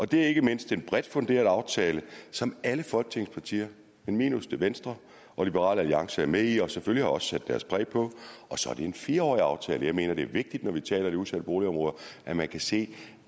det ikke mindst er en bredt funderet aftale som alle folketingets partier minus venstre og liberal alliance er med i og selvfølgelig også har sat deres præg på og så er det en fire årig aftale jeg mener det er vigtigt når vi taler udsatte boligområder at man kan se